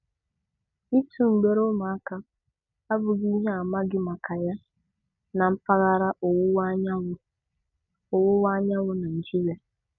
Ịtụ mgbere ụmụaka abụghị ihe amaghị maka ya na mpaghara Ọwụwa Anyanwụ Ọwụwa Anyanwụ Naịjirịa.